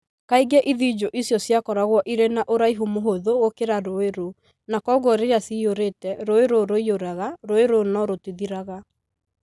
Kaingĩ ithinjũ icio ciakoragwo irĩ na ũraihu mũhũthũ gũkĩra rũũĩ rũu, na kwoguo rĩrĩa ciyũrĩte, rũũĩ rũu rũiyũraga rũũĩ rũu no rũtithiraga.